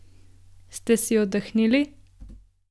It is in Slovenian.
Ste si oddahnili?